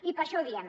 i per això ho diem